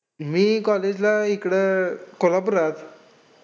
मी college ला इकडं कोल्हापुरात.